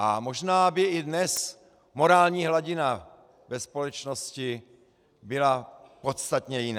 A možná by i dnes morální hladina ve společnosti byla podstatně jiná.